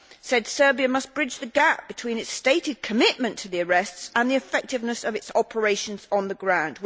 said that Serbia needed to bridge the gap between its stated commitment to the arrests and the effectiveness of its operations on the ground.